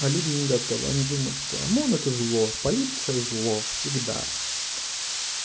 а люди не готовы они думают что омон это зло полиция зло всегда